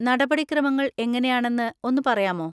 നടപടിക്രമങ്ങൾ എങ്ങനെയാണെന്ന് ഒന്ന് പറയാമോ?